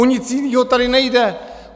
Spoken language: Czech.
O nic jinýho tady nejde!